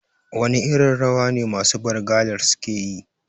Wane irin rawa ne masu Bargalar suke yi?